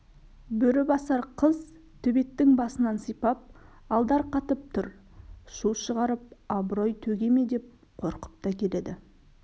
бөрібасар қыз төбеттің басынан сипап алдарқатып тұр шу шығарып абырой төге ме деп қорқып та келеді